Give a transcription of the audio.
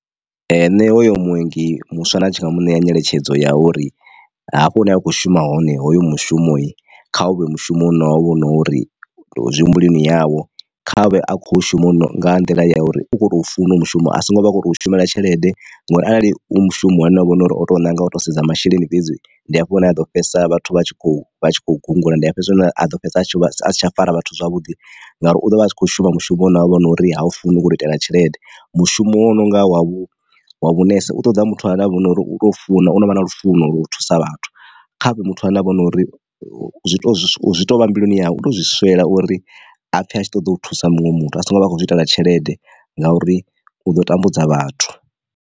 Nṋe hoyo muongi muswa na tshi nga muṋe ya nyeletshedzo ya uri hafho hune a khou shuma hone hoyu mushumo kha u vhe mushumo une wa vha u na uri zwi humbuleli yavho. Kha vhe a khou shuma nga nḓila ya uri u khou tou funa u mushumo asingo vhakhoto shumela tshelede ngori arali u mushumo une hovha hu nori o to nanga u to sedza masheleni fhedzi ndi hafho hune aḓo fhedzisa vhathu vha tshi kho vhatshi kho gungula, ndi a fhedzisela a ḓo fhedza a si tsha fara vhathu zwavhuḓi ngauri u ḓovha a tshi kho shuma mushumo une havha nori ha u funa u khou itela tshelede. Mushumo wa u nonga wa vhu wa vhunese u ṱoḓa muthu ane avha hone nori u tou funa u no vha na lufuno lwa u thusa vhathu. Kha vhe muthu ane avha hone nori u to zwi tovha mbiluni yau u to zwi swela uri apfhe a tshi ṱoḓa u thusa muṅwe muthu asongo vha a khou zwi itela tshelede ngauri u ḓo tambudza vhathu.